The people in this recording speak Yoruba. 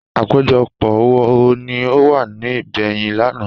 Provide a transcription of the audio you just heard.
Àpéjọpọ̀ wo ni ọ wà ní ibèyen l'ana?